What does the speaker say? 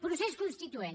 procés constituent